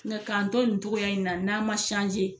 Nka k'an to nin cogoya in na n'an ma